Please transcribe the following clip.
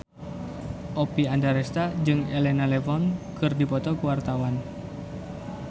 Oppie Andaresta jeung Elena Levon keur dipoto ku wartawan